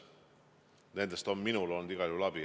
Nendest on minul olnud igal juhul abi.